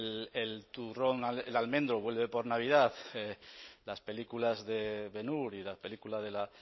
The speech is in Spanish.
el turrón el almendro vuelve por navidad las películas de ben hur y la película de la